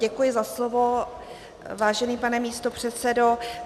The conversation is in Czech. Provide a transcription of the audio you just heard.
Děkuji za slovo, vážený pane místopředsedo.